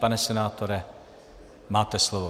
Pane senátore, máte slovo.